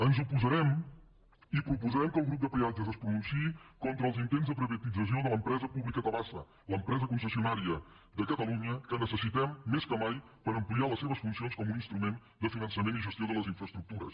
ens hi oposarem i proposarem que el grup de peatges es pronunciï contra els intents de privatització de l’empresa pública tabasa l’empresa concessionària de cata lunya que necessitem més que mai per ampliar les seves funcions com un instrument de finançament i gestió de les infraestructures